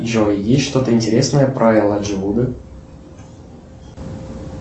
джой есть что то интересное про элайджа вуда